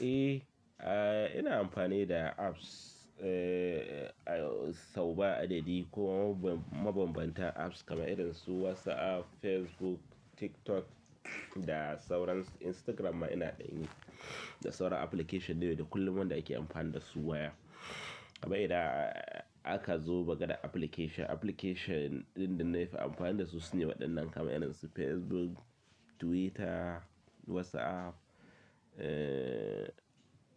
Eh, ina amfani da apps sau ba adadi kuma mabambanta apps kamar irinsu WhatsApp, Facebook, TikTok da sauransu. Instagram ma ina dan yi da sauran application da kullum wanda ake amfani da su waya. Amma idan aka zo daga application, application ɗin da na fi amfani da su sune waɗannan kamar idonsu Facebook, Twitter, WhatsApp.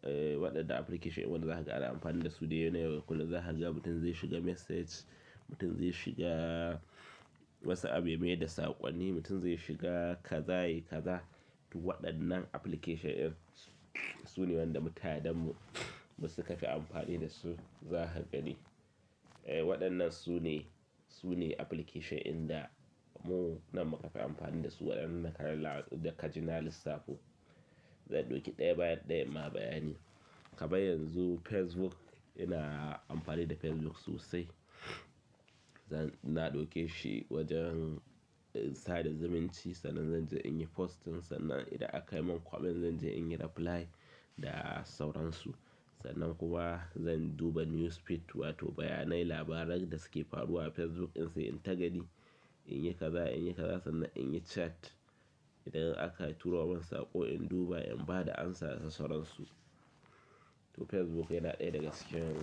Waɗannan application in wanda za ka ga ana amfani da su dai na yau da kullum za ka ga mutum zai shiga message, mutum zai shiga WhatsApp ya mayar da saƙonni, mutum zai shiga kaza yi kaza. To waɗannan application ɗin su ne waɗanda mutanen mu su ka fi amfani da su. Za ka gani waɗannan su ne, su ne application ɗin da mu nan muka fi amfani da su waɗannan da ka ji na lissafo. Zan ɗauki ɗaya baya ɗaya ma bayani. Kuma yanzu Facebook ina amfani da Facebook sosai. Zan, na ɗauke shi wajen sada zumunci sannan zan je in yi posting sannan idan aka yi min kwamin zan je in yi reply da sauransu. Sannan kuma zan duba newsfeed wato bayanai labaran da suke faruwa a Facebook in sai in ta gani, in yi kaza in yi kaza sannan in yi chat. Idan aka turo min saƙo in duba in ba da amsa da sauransu. To Facebook yana ɗaya daga cikin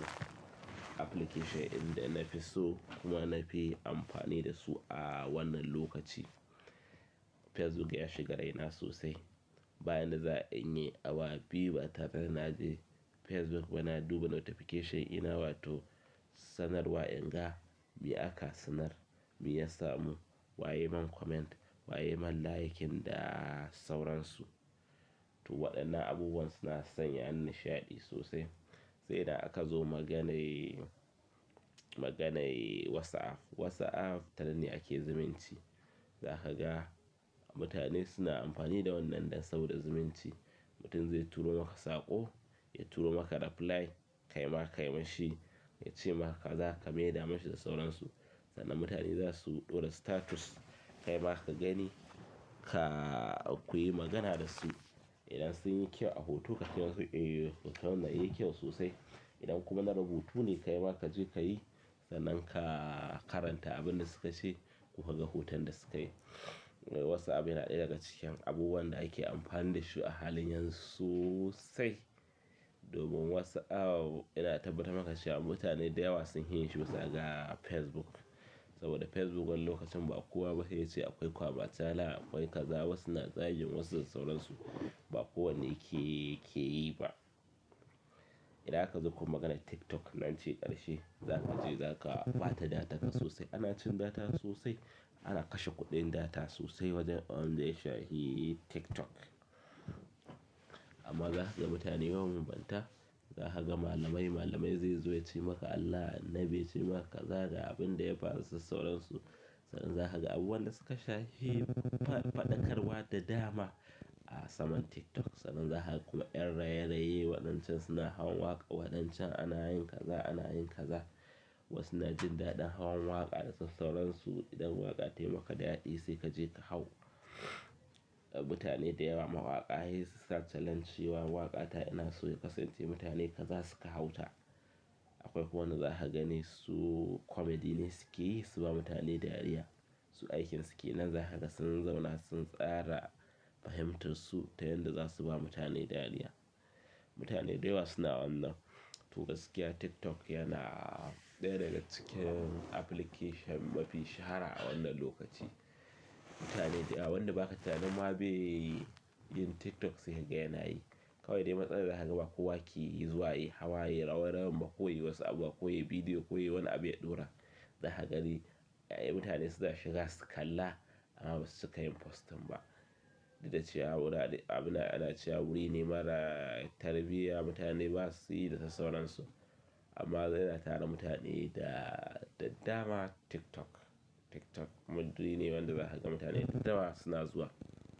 application ɗin da na fi so kuma na fi amfani da su a wannan lokaci. Facebook ya shiga raina sosai. Ba yanda za a yi inyi awa biyu ba tara ba na je Facebook ba na duba notification dina wato sanarwa in ga me aka sanar, me ya samu, wa ya yi min comment, wa ya yi min like da sauransu. To waɗannan abubuwan suna sanya ni sha'adi sosai. Sai idan aka zo maganar, maganar WhatsApp. WhatsApp ta nan ne ake zumunci. Za ka ga mutane suna amfani da wannan ɗan saboda zumunci. Mutum zai turo maka saƙo, ya turo maka reply, ka yi maka, yi masa shi, ya ce maka kaza ka mayar masa shi da sauransu. Sannan mutane za su ɗora status, kai ma ka gani, ka, ku yi magana da su. Idan sunyi kyau a hoto kace musu eh hoton nan yayi kyau sosai idan kuma na rubutu ne ka yi maka ka je ka yi sannan ka karanta abin da su ka ce kuma ka ga hoton da su ka yi. WhatsApp yana ɗaya daga cikin abubuwan da ake amfani da shi a halin yanzu sosai. Domin WhatsApp yana tabbata maka shi a mutane da yawa sunfi yin shi bisa ga Facebook. Saboda Facebook wannan lokacin ba kowa ba ne ya ce akwai kwama cala akwai kaza wasu na zagin wasu da sauransu. Ba kowa keyi ba idan aka zo kuma maganar TikTok nan ce ƙarshe. Nan ce zaka ɓata datar ka sosai. Ana cin data sosai, ana kashe kuɗin data sosai wajen abinda ya shafi TikTok. Amma zakaga mutane mabanbanta za ka ga malamai, malamai zai zo ya ce maka Allah, Annabi ya ce maka kaza da abin da ya faru da sauransu. Sannan za ka ga abubuwan da suka sha hi faɗakarwa da dama a saman TikTok. Sannan za ka kuma ƴan raye-raye waɗancan suna hawan waƙa, waɗancan ana yin kaza, ana yin kaza. Wasu na jin daɗin hawan waƙa da sauransu. Idan waƙa tayi maka daɗi sai ka je ka hau. Mutane da yawa mawaƙa sai su sa challenge. Cewa waƙa ta ina so ya kasance mutane kaza suka hau ta. Akwai wanda za ka gani su comedy ne suke yi su ba mutane dariya. Su aikin su ke nan za ka ga sun zauna sun tsara fahimtarsu ta yanda za su ba mutane dariya. Mutane da yawa suna wannan. To gaskiya TikTok yana ɗaya daga cikin application mafi shahara a wannan lokaci. Mutane da yawa wanda ba ka tunanin ma bai yin TikTok sai ka ga yana yi. Kawai dai matsalar za ka ga ba kowa ke zuwa yayi hawa, yayi rawa rawan ba, ko yayi wasu abu, ko yayi bidiyo, ko yayi wani abu ya ɗora. Za ka gani, ya'ya mutane suna shiga su kalla amma ba su cika yin posting ba. Duk da cewa abin da ana cewa wuri ne mara tarbiyya mutane ba su yi da sauransu. Amma dai yana tara mutane da, da dama TikTok. TikTok wani wuri ne wanda za ka ga mutane da dama suna zuwa.